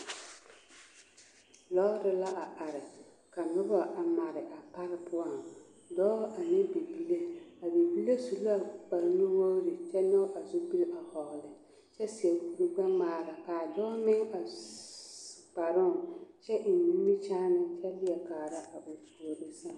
Lɔɔre la a are ka nobɔ a mare a pare poɔŋ dɔɔ ane bibile a bibile su kparre nuwogri kyɛ nyɔge a zupil a hɔɔle kyɛ seɛ korugbɛŋmaara kaa dɔɔ meŋ a s kparoŋ kyɛ eŋ nimikyaani leɛ kaara a puore sɛŋ.